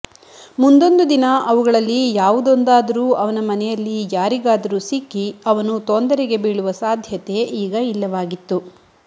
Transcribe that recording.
ಮುಂದೊಂದು ದಿನ ಅವುಗಳಲ್ಲಿ ಯಾವುದೊಂದಾದರೂ ಅವನ ಮನೆಯಲ್ಲಿ ಯಾರಿಗಾದರೂ ಸಿಕ್ಕಿ ಅವನು ತೊಂದರೆಗೆ ಬೀಳುವ ಸಾಧ್ಯತೆ ಈಗ ಇಲ್ಲವಾಗಿತ್ತು